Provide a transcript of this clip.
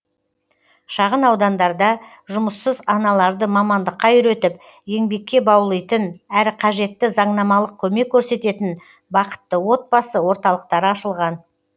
шағын аудандарда жұмыссыз аналарды мамандыққа үйретіп еңбекке баулитын әрі қажетті заңнамалық көмек көрсететін бақытты отбасы орталықтары ашылған